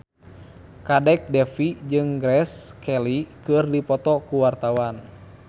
Kadek Devi jeung Grace Kelly keur dipoto ku wartawan